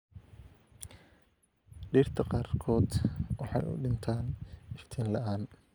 Dhirta qaarkood waxay u dhintaan iftiin la'aan.